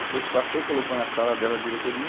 Depois que passou, colocou na sala dela, a diretoria.